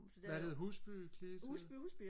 hvad hed Husby klit